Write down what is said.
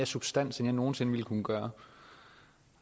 substans end jeg nogen sinde ville kunne gøre